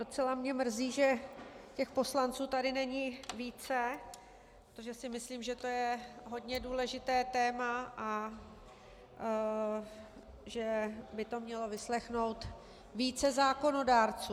Docela mě mrzí, že těch poslanců tady není více, protože si myslím, že to je hodně důležité téma a že by to mělo vyslechnout více zákonodárců.